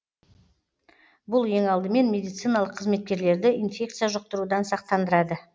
бұл ең алдымен медициналық қызметкерлерді инфекция жұқтырудан сақтандырады